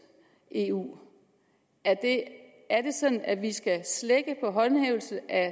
eu er det sådan at vi skal slække på håndhævelsen af